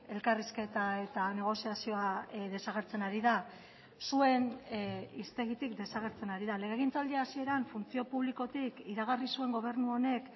elkarrizketa eta negoziazioa desagertzen ari da zuen hiztegitik desagertzen ari da legegintzaldi hasieran funtzio publikotik iragarri zuen gobernu honek